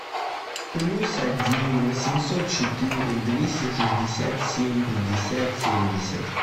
плюс один восемьсот четыре двести шестьдесят семь пятьдесят семьдесят